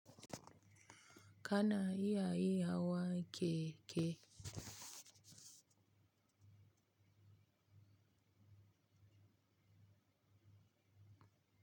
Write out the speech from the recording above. Kana iya iya wa keke?